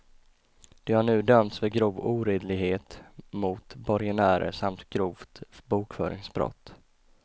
De har nu dömts för grov oredlighet mot borgenärer samt grovt bokföringsbrott.